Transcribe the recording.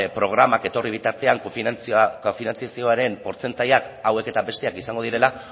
programak etorri bitartean kofinantzazioaren portzentaiak hauek eta besteak izango direla